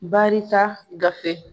Baarita gafe.